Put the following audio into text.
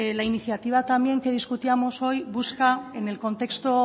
la iniciativa también que discutíamos hoy busca en el contexto